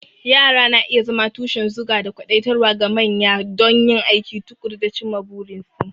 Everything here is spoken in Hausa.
Yara na iya zama tushen zuga da kwadaitarwa ga manya don yin aiki tuƙuru da cimma burinsu.